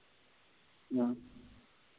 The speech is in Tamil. ம்.